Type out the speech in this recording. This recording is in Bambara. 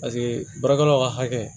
Paseke baarakɛlaw ka hakɛ